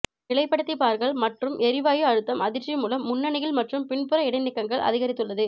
நிலைப்படுத்தி பார்கள் மற்றும் எரிவாயு அழுத்தம் அதிர்ச்சி மூலம் முன்னணியில் மற்றும் பின்புற இடைநீக்கங்கள் அதிகரித்துள்ளது